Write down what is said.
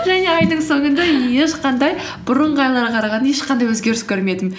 және айдын соңында ешқандай бұрынғы айларға қарағанда ешқандай өзгеріс көрмедім